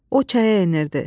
O çaya enirdi.